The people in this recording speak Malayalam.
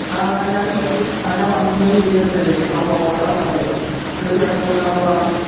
ആഹ് ഞാൻ വിളിച്ചേ ആഹ് ഞാൻ വന്നതെന്തിന്ച്ചാല് ന വ വളണ്ടാവില്ലേ? കൃഷി ഇറക്കുമ്പേ ഇണ്ടാവണ വളം